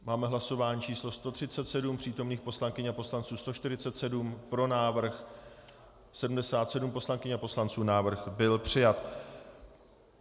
Máme hlasování číslo 137, přítomných poslankyň a poslanců 147, pro návrh 77 poslankyň a poslanců, návrh byl přijat.